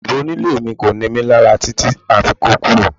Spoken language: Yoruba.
Bàbá onílé mi kò ni mí lára títí a fi kó kúrò